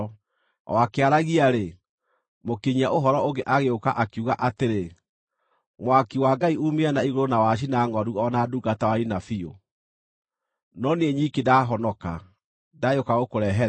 O akĩaragia-rĩ, mũkinyia-ũhoro ũngĩ agĩũka, akiuga atĩrĩ, “Mwaki wa Ngai uumire na igũrũ na wacina ngʼondu o na ndungata waniina biũ; no niĩ nyiki ndahonoka, ndagĩũka gũkũrehere ũhoro!”